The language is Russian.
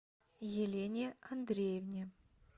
елене андреевне